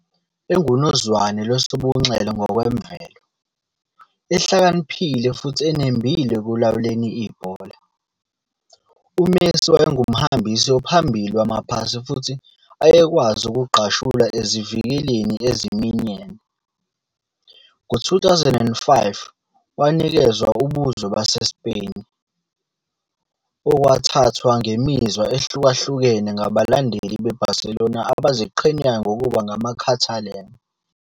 Engunozwane lwesobunxele ngokwemvelo, ehlakaniphile futhi enembile ekulawuleni ibhola, uMessi wayengumhambisi ophambili wama-pasi futhi ayekwazi ukugqashula ezivikeleni eziminyene. Ngo-2005 wanikezwa ubuzwe baseSpain, okwathathwa ngemizwa ehlukahlukene ngabalandeli beBarcelona abaziqhenyayo ngokuba ngamaCatalan.